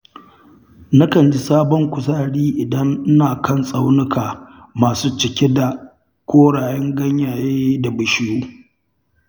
Nakan ji sabon kuzari idan ina kan tsaunuka masu cike da korran ganyaye da bishiyu.